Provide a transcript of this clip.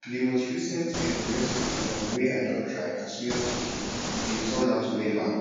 di most recent um recipe um wey i don try na suya chicken e dey turn out wella